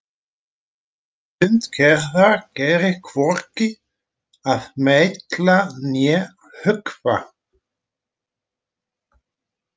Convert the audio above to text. Hönd Gerðar gerir hvorki að meitla né höggva.